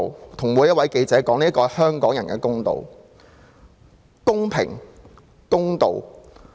我要跟每一位記者說：這是香港人的公道。